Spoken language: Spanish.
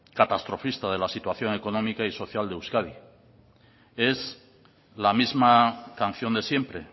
catastrofista de la situación económica y social de euskadi es la misma canción de siempre